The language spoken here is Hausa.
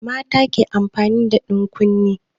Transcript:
Mata ke amfani da ɗankunne.